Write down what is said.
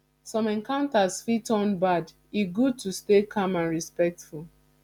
some encounters fit turn bad e good to stay calm and respectful